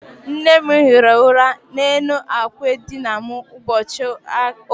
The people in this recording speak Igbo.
Nne m hiri ụra n'elu àkwà edina m ụbọchị ụka.